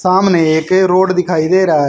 सामने एक रोड दिखाई दे रहा--